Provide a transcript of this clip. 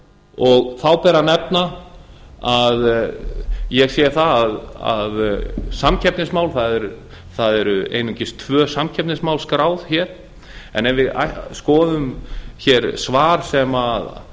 gefið til kynna í þessari skýrslu þá ber að nefna ég sé að samkeppnismál það eru einungis tvö samkeppnismál skráð hér en ef við skoðum hér svar sem